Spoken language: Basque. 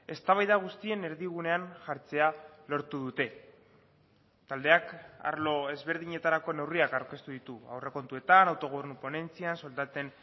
eztabaida guztien erdigunean jartzea lortu dute taldeak arlo ezberdinetarako neurriak aurkeztu ditu aurrekontuetan autogobernu ponentzian soldaten